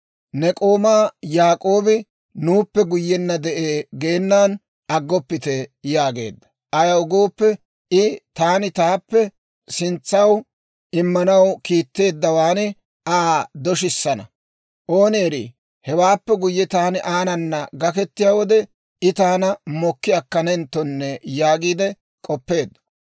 ‹Ne k'oomaa Yaak'oobi nuuppe guyyenna yide'ee› geenan aggoppite» yaageedda. Ayaw gooppe I, «Taani taappe sintsaw immanaw kiitteeddawaan Aa doshissana; ooni erii, hewaappe guyye taani aanana gaketiyaa wode, I taana mokki akkanenttonne» yaagiide k'oppeedda.